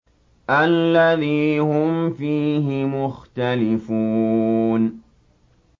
الَّذِي هُمْ فِيهِ مُخْتَلِفُونَ